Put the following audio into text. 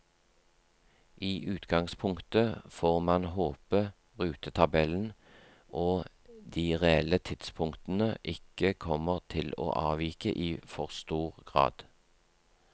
I utgangspunktet får man håpe rutetabellen og de reelle tidspunktene ikke kommer til å avvike i for stor grad.